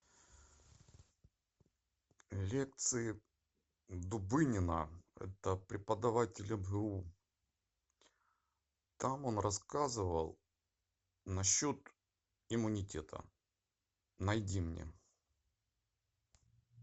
лекции дубынина это преподаватель мгу там он рассказывал насчет иммунитета найди мне